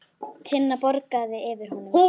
Tinna bograði yfir honum.